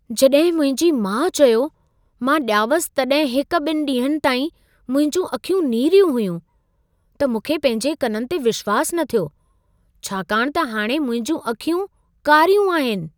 जॾहिं मुंहिंजी माउ चयो, मां ॼावसि तॾहिं हिक-ॿिनि ॾींहनि ताईं मुंहिंजियूं अखियूं नीरियूं हुयूं, त मूंखे पंहिंजे कननि ते विश्वासु न थियो, छाकाणि त हाणे मुंहिंजियूं अखियूं कारियूं आहिनि।